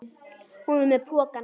Hún var með pokann sinn.